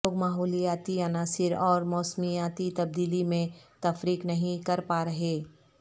لوگ ماحولیاتی عناصر اور موسمیاتی تبدیلی میں تفریق نہیں کر پا رہے